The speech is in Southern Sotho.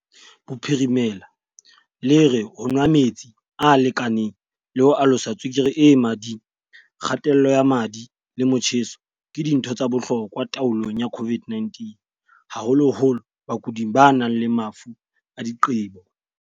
Bophirimela le re ho nwa metsi a lekaneng le ho alosa tswekere e mading, kga-tello ya madi le motjheso ke dintho tsa bohlokwa taolong ya COVID-19, haholoholo bakuding ba nang le mafu a diqebo.